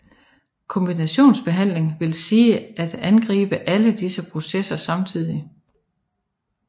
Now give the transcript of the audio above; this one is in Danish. Kombinationsbehandling vil sige at angribe alle disse processer samtidigt